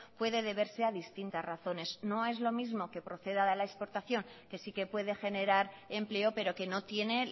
puede deberse a distintas razones no es lo mismo que proceda de la exportación que sí que puede generar empleo pero que no tiene